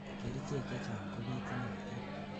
kerichek chechang kobitunotin